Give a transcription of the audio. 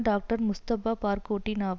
doctor Mustafa பார்கோட்டினாவார்